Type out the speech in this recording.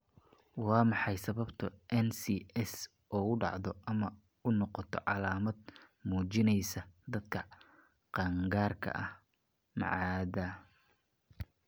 Waa maxay sababta NCS ugu dhacdo ama u noqoto calaamad muujinaysa dadka qaangaarka ah ma cadda.